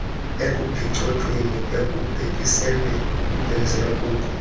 ekuphicothweni ekubhekiselelwa kuko